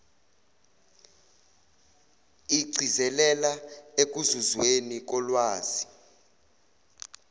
igcizelela ekuzuzweni kolwazi